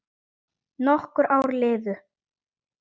Nokkur ár liðu.